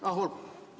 Ah, olgu!